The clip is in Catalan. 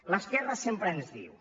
l’esquerra sempre ens diu